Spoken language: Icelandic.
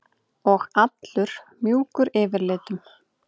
Og allur mjúkur yfirlitum.